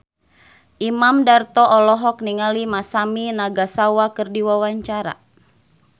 Imam Darto olohok ningali Masami Nagasawa keur diwawancara